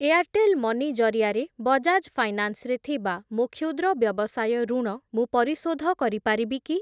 Airtel money ଜରିଆରେ Bajaj finance ରେ ଥିବା ମୋ କ୍ଷୁଦ୍ର ବ୍ୟବସାୟ ଋଣ ମୁଁ ପରିଶୋଧ କରିପାରିବି କି?